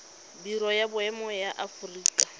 biro ya boemo ya aforika